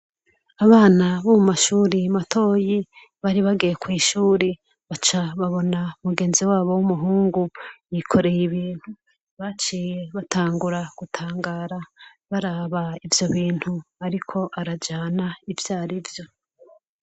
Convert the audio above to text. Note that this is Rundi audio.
Abana bo mu mashure matoyi, bari bagiye kw'ishuri. Baca babona mugenzi wabo w'umuhungu, yikoreye ibintu. Baciye batangura gutangara baraba ivyo bintu ariko arajana ivyo ari vyo.